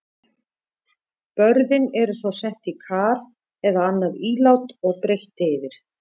Börðin eru svo sett í kar eða annað ílát og breitt yfir.